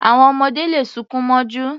Àwọn ọmọdé le sunkún mọ́jú.